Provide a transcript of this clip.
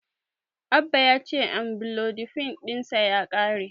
Abba ya ce Amlodipin ɗinsa ya ƙare.